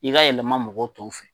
I ka yɛlɛma mɔgɔ tɔw fɛ.